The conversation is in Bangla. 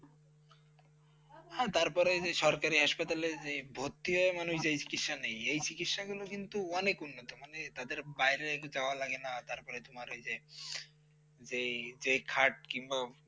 হ্যাঁ, তারপরে যে সরকারি hospital লে যে ভর্তি হয় মানে চিকিৎসা নেই, এই চিকিৎসাগুলো কিন্তু অনেক উন্নতমানের তাদের বাইরে যাওয়া লাগে না, তারপরে তোমার ঐ যে খাট বা এসব কিছু